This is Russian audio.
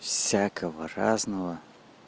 всякого разного